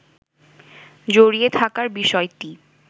জড়িয়ে থাকার বিষয়টি